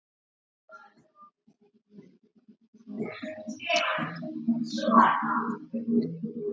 Settu tappann í bokkuna.